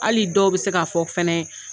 Hali dɔw bɛ se ka'a fɔ fɛna .